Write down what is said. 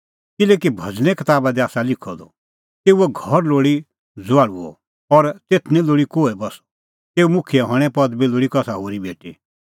किल्हैकि भज़ने कताबा दी आसा लिखअ द तेऊओ घर लोल़ी ज़ुआल़ुअ और तेथ निं लोल़ी कोहै बस्सअ तेऊए मुखियै हणें पदबी लोल़ी कसा होरी भेटी